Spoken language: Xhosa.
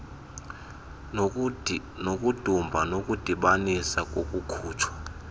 nokudumba okudibanisa nokukhutshwa